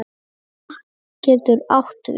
Vatn getur átt við